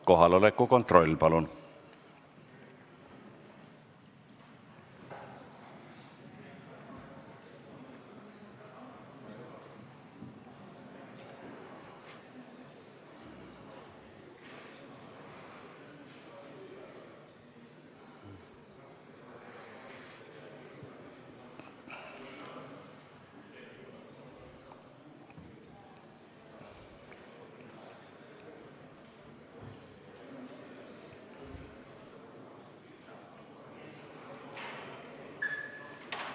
Kohaloleku kontroll, palun!